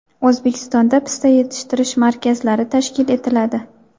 O‘zbekistonda pista yetishtirish markazlari tashkil etiladi.